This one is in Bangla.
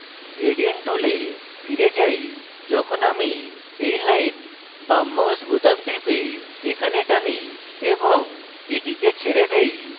gradient tool ফিরে যাই যখন আমি এই line বাম mouse বোতাম টিপে এখানে টানি এবং এটিকে ছেড়ে দেই